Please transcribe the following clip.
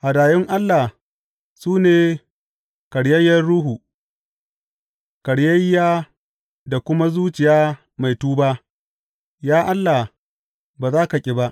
Hadayun Allah su ne karyayyen ruhu; karyayyiya da kuma zuciya mai tuba, Ya Allah, ba za ka ƙi ba.